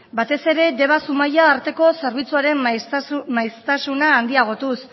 batez ere deba zumaia arteko zerbitzuaren maiztasuna handiagotuz